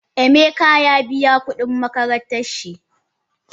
Emeka ya biya kudin makarantan shi.